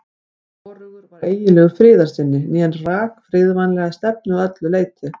Hvorugur var eiginlegur friðarsinni né rak friðvænlega stefnu að öllu leyti.